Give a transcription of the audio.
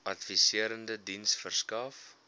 adviserende diens verskaf